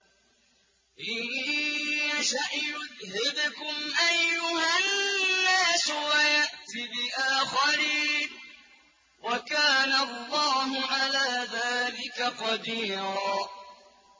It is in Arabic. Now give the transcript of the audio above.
إِن يَشَأْ يُذْهِبْكُمْ أَيُّهَا النَّاسُ وَيَأْتِ بِآخَرِينَ ۚ وَكَانَ اللَّهُ عَلَىٰ ذَٰلِكَ قَدِيرًا